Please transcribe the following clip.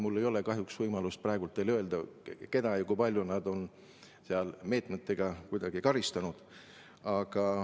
Mul ei ole kahjuks võimalik praegu teile öelda, keda ja kui palju nad on seal kuidagi karistanud.